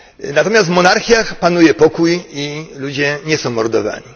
Natomiast w monarchiach panuje pokój i ludzie nie są mordowani.